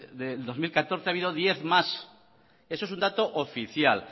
de dos mil catorce ha habido diez más esto es un dato oficial